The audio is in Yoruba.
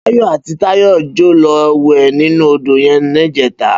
Bayo àtí Tayo jò lò wè ninú ódó yèn nijètá